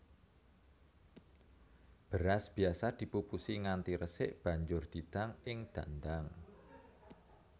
Beras biasa dipupusi nganti resik banjur didang ing dandang